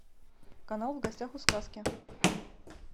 канал в гостях у сказки